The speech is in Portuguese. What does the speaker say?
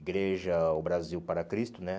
Igreja O Brasil para Cristo, né?